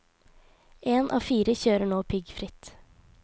En av fire kjører nå piggfritt.